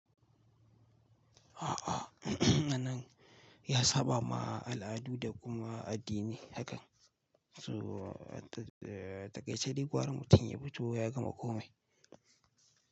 A'a, anan ya saba ma al'adu da kuma addini hakan. So a takaiche gwara mutum ya fito ya gama komai.